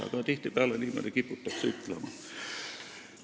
Paraku tihtipeale kiputakse niimoodi ütlema.